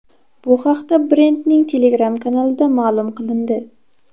Bu haqda brendning Telegram kanalida ma’lum qilindi.